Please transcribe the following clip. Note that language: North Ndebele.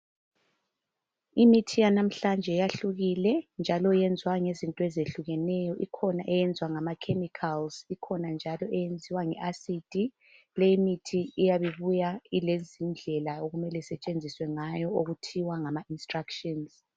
Imithi yanamhlanje yahlukile, njalo eyenziwa ngezinto ezihlukenenyo. Ikhona eyenzwa ngama 'chemicals', ikhona njalo yenziwa nge-asidi. Leyi mithi iyabe ibuya ilezindlela okumele isetshenziswa ngayo okuthiwa ngama instructions.